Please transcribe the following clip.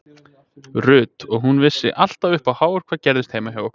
Ruth og hún vissi alltaf upp á hár hvað gerðist heima hjá okkur.